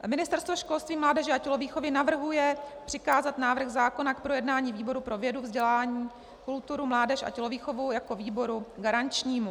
Ministerstvo školství, mládeže a tělovýchovy navrhuje přikázat návrh zákona k projednání výboru pro vědu, vzdělání, kulturu, mládež a tělovýchovu jako výboru garančnímu.